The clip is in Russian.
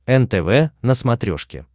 нтв на смотрешке